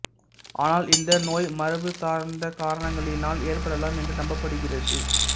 ஆனால் இந்த நோய் மரபு சார்ந்த காரணங்களினால் ஏற்படலாம் என்று நம்பப்படுகிறது